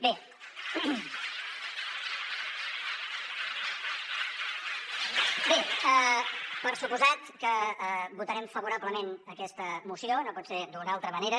bé per descomptat que votarem favorablement aquesta moció no pot ser d’una altra manera